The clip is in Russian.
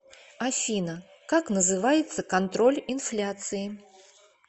афина как называется контроль инфляции